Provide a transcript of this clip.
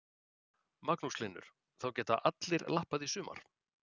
Magnús Hlynur: Þá geta allir lappað í sumar?